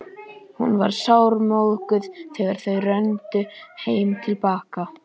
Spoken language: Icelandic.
Hún var sármóðguð þegar þau renndu heim að Bakka.